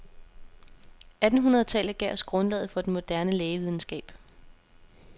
Attenhundredetallet gav os grundlaget for den moderne lægevidenskab.